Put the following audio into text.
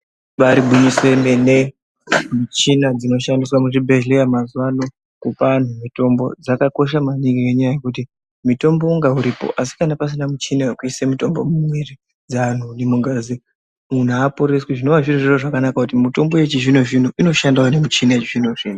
Ibaari gwinyiso remene michina dzinoshandiswa muzvibhehleya mazuwa ano kupa anhu mutombo zvakakosha maningi ngenyaya yekuti mutombo unonga uripo asi kana pasina muchina wekuise mutombo mumwiri dzeanhu nemungazi munhu aaporeswi zvinova zvirizvo zvakanaka kuti mitombo yechizvinozvino inoshandawo ne mitombo yechizvinozvino.